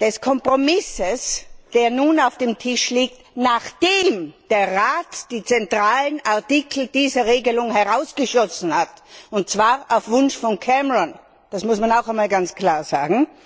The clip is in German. des Kompromisses, der nun auf dem Tisch liegt, nachdem der Rat die zentralen Artikel dieser Regelung herausgeschossen hat, und zwar auf Wunsch von Cameron, das muss man auch einmal ganz klar sagen.